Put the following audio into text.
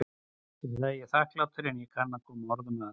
Fyrir það er ég þakklátari en ég kann að koma orðum að.